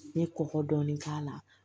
N ye kɔkɔ dɔɔni k'a la